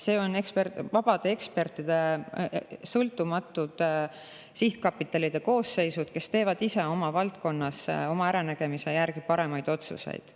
Seal on vabade ekspertidega sõltumatute sihtkapitalide koosseisud, kes teevad oma valdkonnas oma äranägemise järgi parimaid otsuseid.